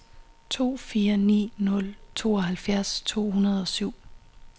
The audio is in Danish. to fire ni nul tooghalvfjerds to hundrede og syv